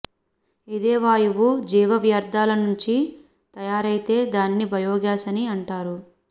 ఇదే వాయువు జీవవ్యర్థాల నుంచి తయారైతే దానిని బయోగ్యాస్ అని అంటారు